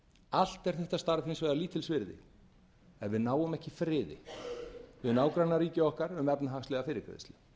allt er þetta starf hins vegar lítils virði ef við náum ekki friði við nágrannaríki okkar um efnahagslega fyrirgreiðslu